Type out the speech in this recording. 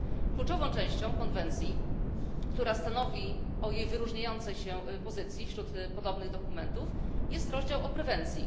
Kluczową częścią konwencji, która stanowi o jej wyróżniającej się pozycji wśród podobnych dokumentów, jest rozdział o prewencji.